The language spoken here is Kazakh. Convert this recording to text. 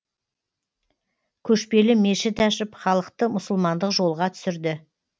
көшпелі мешіт ашып халықты мұсылмандық жолға түсірді